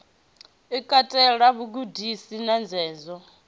i katela vhugudisi na ndededzo